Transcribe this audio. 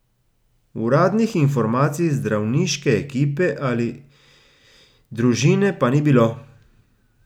Uradnih informacij zdravniške ekipe ali družine pa ni bilo.